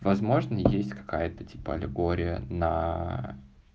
возможно есть какая-то типа аллегория на